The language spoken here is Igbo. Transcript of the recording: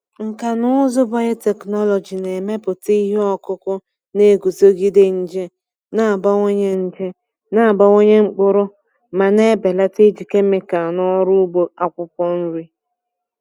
Nkà na ụzụ biotechnology na-emepụta ihe ọkụkụ na-eguzogide nje, na-abawanye nje, na-abawanye mkpụrụ ma na-ebelata iji kemịkal n’ọrụ ugbo akwụkwọ nri.